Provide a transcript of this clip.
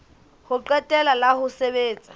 ho qetela la ho sebetsa